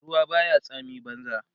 ruwa Baya tsami banza